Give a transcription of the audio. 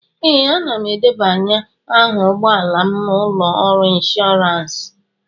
Ee, ana m edebanye aha ụgbọ ala m na ụlọ ọrụ ịnshọọransị